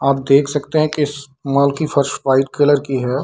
आप देख सकते हैं की इस मॉल की फर्श वाइट कलर की है।